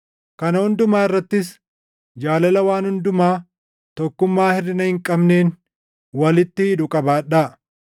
Kana hundumaa irrattis jaalala waan hundumaa tokkummaa hirʼina hin qabneen walitti hidhu qabaadhaa.